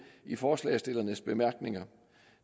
i forslagsstillernes bemærkninger